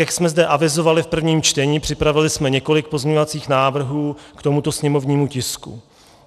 Jak jsme zde avizovali v prvním čtení, připravili jsme několik pozměňovacích návrhů k tomuto sněmovnímu tisku.